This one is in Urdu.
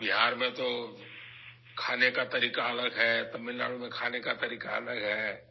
بہار میں کھانے کا طریقہ الگ ہے، تمل ناڈو میں کھانے کا طریقہ الگ ہے